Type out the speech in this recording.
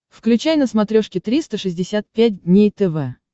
включай на смотрешке триста шестьдесят пять дней тв